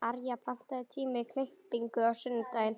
Arja, pantaðu tíma í klippingu á sunnudaginn.